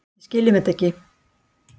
Við skiljum þetta ekki